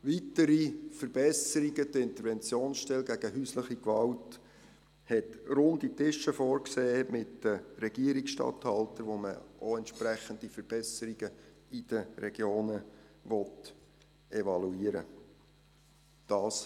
Weitere Verbesserungen: Die Interventionsstelle gegen häusliche Gewalt hat Runde Tische vorgesehen mit den Regierungsstatthaltern, mit denen man entsprechende Verbesserungen in den Regionen evaluieren will.